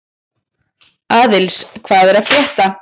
Aðils, hvað er að frétta?